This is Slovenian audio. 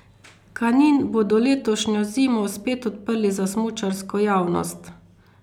Kanin bodo letošnjo zimo spet odprli za smučarsko javnost.